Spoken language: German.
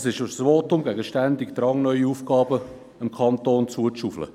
Es ist ein Votum gegen den Drang, dem Kanton ständig neue Aufgaben zuzuweisen.